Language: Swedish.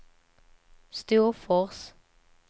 Storfors